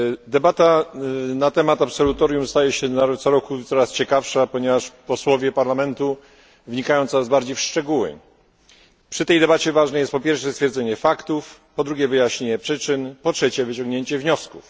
Debata na temat absolutorium staje się co roku coraz ciekawsza, ponieważ posłowie Parlamentu wnikają coraz bardziej w szczegóły. Przy tej debacie ważne jest po pierwsze stwierdzenie faktów, po drugie wyjaśnienie przyczyn, po trzecie wyciągnięcie wniosków.